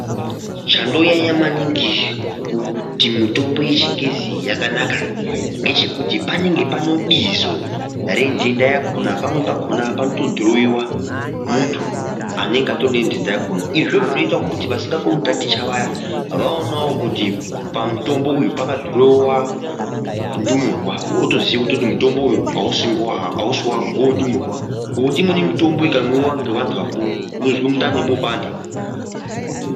Chandonyanya maningi kuti mitombo yechingezi iyi yakanaka ngechekuti panenge pane Bizo renhenda yakona pamweni pakona panoto nyorwa mufodho wemuntu anenge anenhenda yakona izvozvo zvinoite kuti vasingakoni kutaticha vaya vaona kuti pamutombo uyu pane fodho yendumurwa wotoziye kuti mutombo uyu hausiwangu ngewe ndumurwa ngokuti imweni mitombo ikamwiwa ngeanhu akuru unozwe mundani mwopanda.